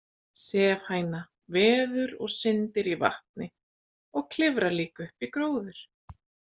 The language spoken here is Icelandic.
Sefhæna veður og syndir í vatni og klifrar líka upp í gróður.